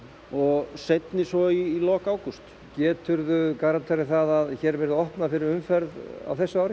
og seinni svo í lok ágúst geturðu garanterað það að hér verði opnað fyrir umferð á þessu ári